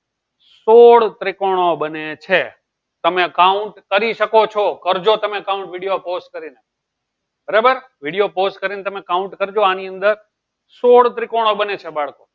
સોળ ત્રિકોણો બને છે તમે count કરી શકો છો કરજો તમે count video pause કરીને બરાબર video pause કરીને તમે count કરજો આની અંદર સોળ ત્રિકોણ બને છે બાળકો